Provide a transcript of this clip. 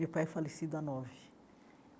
Meu pai é falecido há nove.